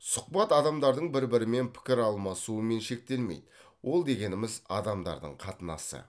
сұхбат адамдардың бір бірімен пікір алысуымен шектелмейді ол дегеніміз адамдардың қатынасы